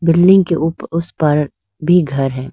Building के उप उस पार भी घर हैं।